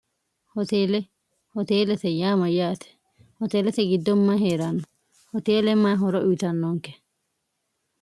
hoteelehoteelete yaama yaate hoteelete giddomma hee'raanno hoteele ma horo uyitannoonke